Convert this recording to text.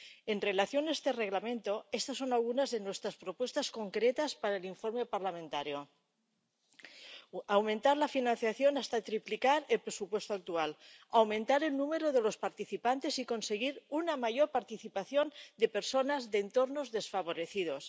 En relación con este Reglamento, estas son algunas de nuestras propuestas concretas para el informe parlamentario aumentar la financiación hasta triplicar el presupuesto actual aumentar el número de los participantes y conseguir una mayor participación de personas de entornos desfavorecidos